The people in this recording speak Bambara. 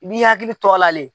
I b'i hakili to a la le.